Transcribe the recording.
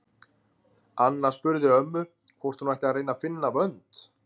Anna spurði ömmu hvort hún ætti að reyna að finna vönd.